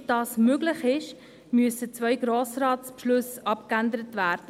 Damit das möglich ist, müssen zwei Grossratsbeschlüsse abgeändert werden.